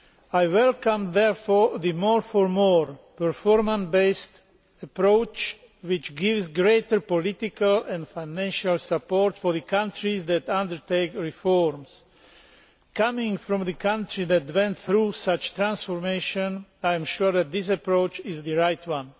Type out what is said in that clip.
I welcome therefore the more for more performance based approach which gives greater political and financial support to the countries that undertake reforms. Coming from a country which went through such transformation, I am sure that this approach is the right one.